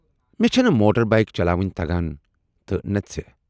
مےٚ چھَنہٕ motorbike چلاوٕنۍ تگان تہٕ نہٕ ژےٚ۔